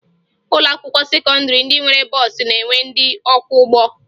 Ụlọakwụkwọ sekọndịrị ndị nwere bọọsụ na-enwe ndị ọkwọụgbọ